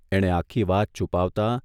એણે આખી વાત છુપાવતા